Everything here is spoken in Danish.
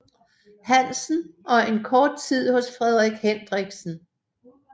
Hansen og en kort tid hos Frederik Hendriksen